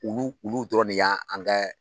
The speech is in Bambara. Olu olu dɔrɔn ne yan an kɛ